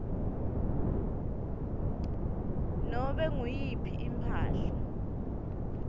nobe nguyiphi imphahla